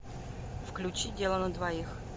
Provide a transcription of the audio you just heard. включи дело на двоих